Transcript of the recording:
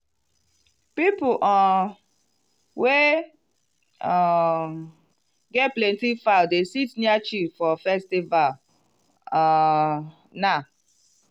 people um wey um get plenty fowl dey sit near chiefs for festival um now.